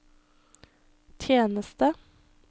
tjeneste